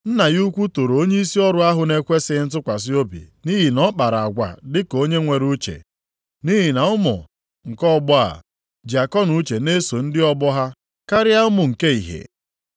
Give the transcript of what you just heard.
“Nna ya ukwu toro onyeisi ọrụ ahụ na-ekwesighị ntụkwasị obi nʼihi na ọ kpara agwa dị ka onye nwere uche. Nʼihi na ụmụ, nke ọgbọ a, ji akọnuche na-eso ndị ọgbọ ha karịa ụmụ nke ìhè.